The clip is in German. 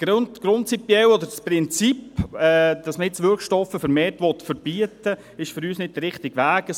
Das Prinzip, dass man jetzt Wirkstoffe vermehrt verbieten will, ist für uns nicht der richtige Weg.